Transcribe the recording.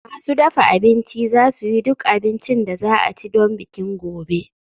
Masu dafa abinci za su yi duk abincin da za a ci don bikin gobe